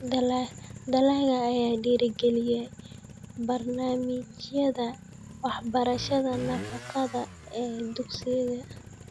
Dalagga ayaa dhiirigeliya barnaamijyada waxbarashada nafaqada ee dugsiga.